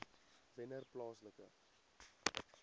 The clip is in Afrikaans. wennerplaaslike